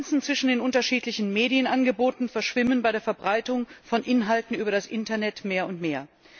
Die Grenzen zwischen den unterschiedlichen Medienangeboten verschwimmen bei der Verbreitung von Inhalten über das Internet mehr und mehr.